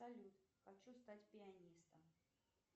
салют хочу стать пианистом